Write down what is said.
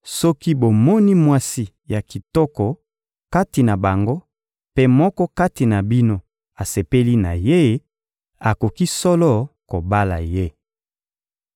soki bomoni mwasi ya kitoko kati na bango mpe moko kati na bino asepeli na ye, akoki solo kobala ye.